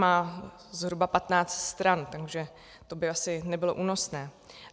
Má zhruba 15 stran, takže to by asi nebylo únosné.